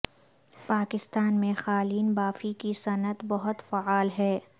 پاکستان میں قالین بافی کی صنعت بہت فعال ہے